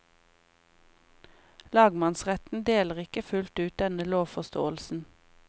Lagmannsretten deler ikke fullt ut denne lovforståelsen.